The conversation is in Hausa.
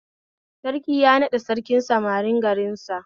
Sarki ya naɗa Sarkin samarin garin sa